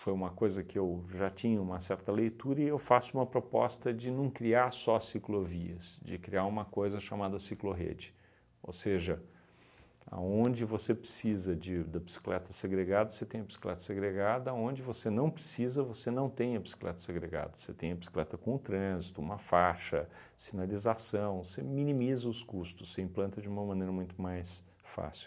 foi uma coisa que eu já tinha uma certa leitura e eu faço uma proposta de não criar só ciclovias, de criar uma coisa chamada ciclorrede, ou seja, aonde você precisa de da bicicleta segregada, você tem a bicicleta segregada, aonde você não precisa, você não tem a bicicleta segregada, você tem a bicicleta com trânsito, uma faixa, sinalização, você minimiza os custos, você implanta de uma maneira muito mais fácil.